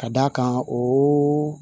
Ka d'a kan o